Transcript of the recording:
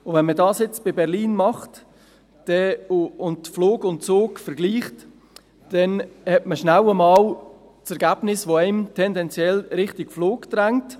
Wenn man das für Berlin macht und Flug und Zug vergleicht, hat man schnell einmal das Ergebnis, das einen tendenziell Richtung Flug drängt.